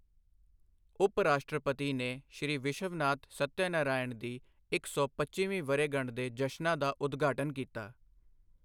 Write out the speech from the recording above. ਉਪ ਰਾਸ਼ਟਰਪਤੀ ਨੇ ਸ੍ਰੀ ਵਿਸ਼ਵਨਾਥ ਸੱਤਯਨਾਰਾਇਣ ਦੀ ਇੱਕ ਸੌ ਪੱਚੀਵੀਂ ਵਰ੍ਹੇਗੰਢ ਦੇ ਜਸ਼ਨਾਂ ਦਾ ਉਦਘਾਟਨ ਕੀਤਾ